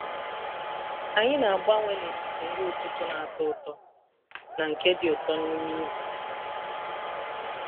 anyị na-agbanwe n’etiti nri ụtụtụ na-atọ ụtọ na nke dị ụtọ n’ime izu.